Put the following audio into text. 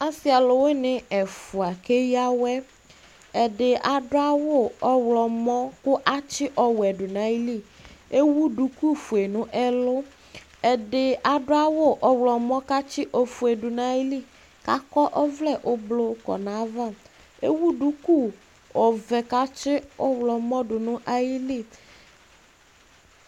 Asi ɔlʋwini ɛfua ak'eɣǝ wɛ Ɛdi adʋ awʋ ɔɣlɔmɔ kʋ atsi ɔwɛ du nayili Ewu duku fue nʋ ɛlʋ, ɛdi adʋ awʋ ɔɣlɔmɔ k'atsi ofue dʋ nayili k'akɔ ɔvlɛ ʋblʋ kɔ nayava Ewu duku ɔvɛ k'atsi ɔɣlɔmɔ dʋ nʋ ayili